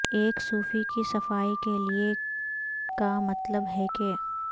ایک سوفی کی صفائی کے لئے کا مطلب ہے کہ